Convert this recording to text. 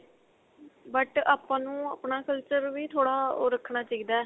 but ਆਪਾਂ ਨੂੰ ਆਪਣਾ culture ਵੀ ਥੋੜਾ ਉਹ ਰੱਖਣਾ ਚਾਹੀਦਾ.